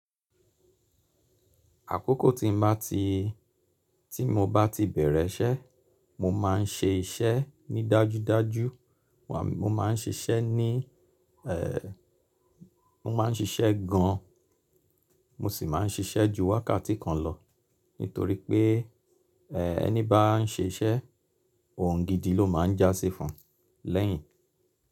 Àkókò tí mo bá ti bẹ̀rẹ̀ iṣẹ́, mo má n ṣe iṣẹ́ ní dájúdájú. Mo ma n ṣiṣẹ́ ní, mo ma n ṣiṣẹ́ gan, mo si ma n ṣiṣẹ́ ju wákàtí kan lọ nítorí pé ẹni bá n ṣiṣẹ́ oun gidi ló ma n jásí fún lẹ́yìn.